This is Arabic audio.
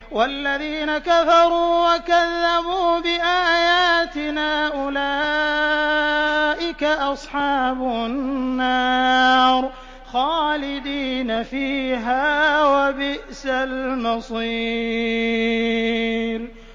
وَالَّذِينَ كَفَرُوا وَكَذَّبُوا بِآيَاتِنَا أُولَٰئِكَ أَصْحَابُ النَّارِ خَالِدِينَ فِيهَا ۖ وَبِئْسَ الْمَصِيرُ